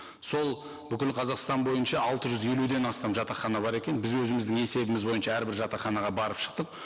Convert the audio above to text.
сол бүкіл қазақстан бойынша алты жүз елуден астам жатақхана бар екен біз өзіміздің есебіміз бойынша әрбір жатақханаға барып шықтық